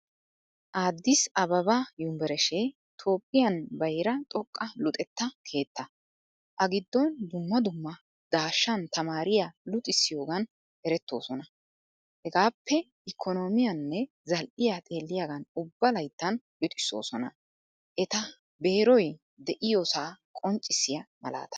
Addis Ababa yunvurshee toophphiyan bayraa xooqqa luxetta keettaa. A giddon dumma dumma dashshaan tamaariyaa luxisiyogan ereetosona. Hegappe ikkonomiyaane zal"iyaa xeelliyagan ubba layttan luxisosona. Eta beeroy de'iyosa qonccisiyaa maalaataa.